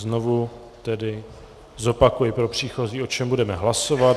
Znovu tedy zopakuji pro příchozí, o čem budeme hlasovat.